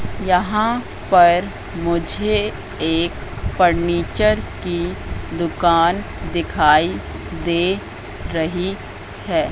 यहां पर मुझे एक फर्नीचर की दुकान दिखाई दे रही है।